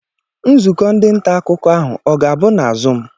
Nzukọ ndị nta akụkọ ahụ ọ ga-abụ na zuum?